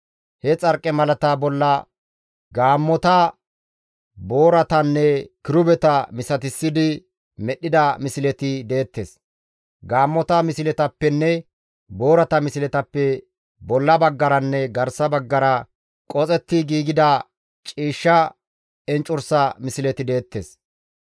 He xarqimalata bolla gaammota, booratanne kirubeta misatissidi medhdhida misleti deettes; gaammota misletappenne boorata misletappe bolla baggaranne garsa baggara qoxetti giigida ciishsha enccursa misleti deettes.